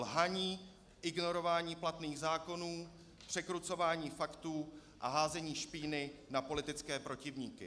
Lhaní, ignorování platných zákonů, překrucování faktů a házení špíny na politické protivníky.